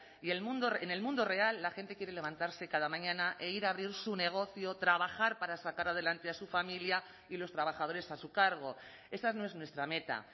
y en el mundo real la gente quiere levantarse cada mañana e ir a abrir su negocio trabajar para sacar adelante a su familia y los trabajadores a su cargo esa no es nuestra meta